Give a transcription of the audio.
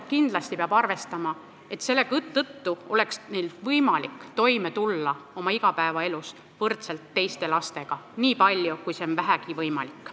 Kindlasti peab arvestama, et selle tõttu peaks neil lastel olema võimalik tulla oma igapäevaelus toime võrdselt teiste lastega, niipalju kui see on vähegi võimalik.